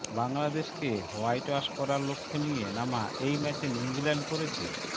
বাংলাদেশকে হোয়াইটওয়াশ করার লক্ষ্য নিয়ে নামা এই ম্যাচে নিউজিল্যান্ড করেছে